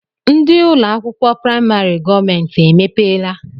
Ndị ụlọakwụkwọ praịmarị gọọmenti emepeela?